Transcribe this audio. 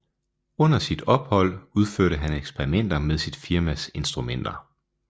Under sit ophold udførte han eksperimenter med sit firmas instrumenter